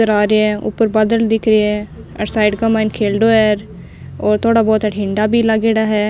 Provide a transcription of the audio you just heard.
करा रहे है ऊपर बादल दिख रिया है अठे साइड के माय खेलडो है और थोड़ा बहोत अठे हिण्डा भी लागेड़ा है।